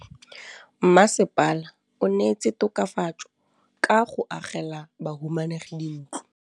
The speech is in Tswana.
Mmasepala o neetse tokafatsô ka go agela bahumanegi dintlo.